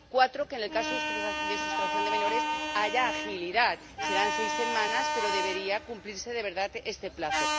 cuarto, que en el caso de sustracción de menores haya agilidad ―serán seis semanas, pero debería cumplirse de verdad este plazo―